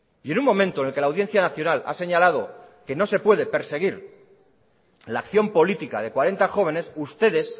y en un momento en el que la audiencia nacional ha señalado que no se puede perseguir la acción política de cuarenta jóvenes ustedes